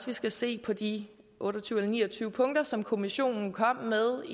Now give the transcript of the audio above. vi skal se på de otte og tyve eller ni og tyve punkter som kommissionen kom med